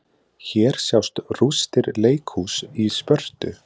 Hér sjást rústir leikhúss í Spörtu.